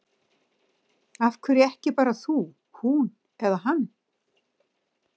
Af hverju ekki bara þú, hún eða hann?